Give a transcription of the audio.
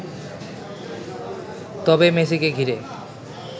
তবে মেসিকে ঘিরে